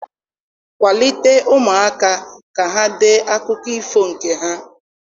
Kwalite ụmụaka ka ha dee akụkọ ifo nke ha.